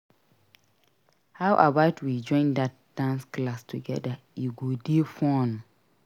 How about we join that dance class together? E go dey fun.